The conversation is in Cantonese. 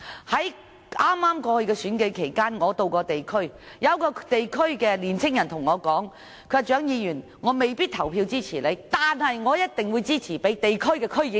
在剛過去的選舉期間我曾落區，當時有位年輕人告訴我：蔣議員，我未必投票支持你，但我一定會支持地區區議員。